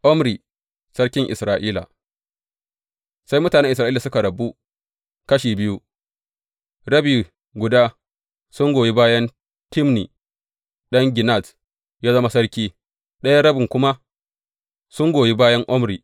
Omri sarkin Isra’ila Sai mutanen Isra’ila suka rabu kashi biyu; rabi guda sun goyi bayan Tibni ɗan Ginat yă zama sarki, ɗayan rabin kuma sun goyi bayan Omri.